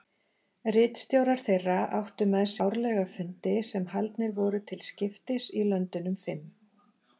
Ritstjórar þeirra áttu með sér árlega fundi sem haldnir voru til skiptis í löndunum fimm.